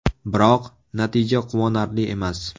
Biroq, natija quvonarli emas.